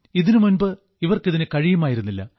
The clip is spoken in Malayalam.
ഇതിനുമുൻപ് ഇവർക്ക് ഇതിന് കഴിയുമായിരുന്നില്ല